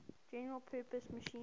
general purpose machine